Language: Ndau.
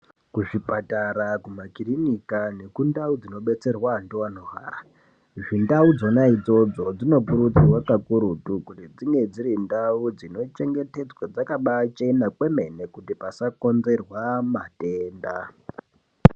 Kuzvipatara, kumakirinika nekundau dzinobetserwa andu anorwara, ndau dzona idzodzo dzinokurudzirwa kakurutu kuti dzinge dziri ndau dzinochengetedzwe dzakaba chena kwemene kuti pasakonzerwa matenda.